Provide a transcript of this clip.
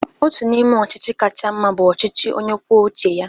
Ọtu n'ime ochichi kacha mma bu ọchichi onye kwuọ uche ya.